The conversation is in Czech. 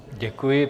Děkuji.